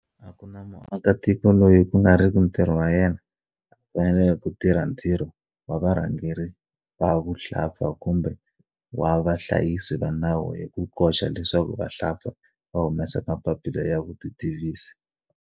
A ku na muakitiko loyi ku nga riki ntirho wa yena a faneleke ku tirha ntirho wa varhangeri va vuhlampfa kumbe wa vahlayisi va nawu hi ku koxa leswaku vahlampfa va humesa mapapila ya vutitivisi.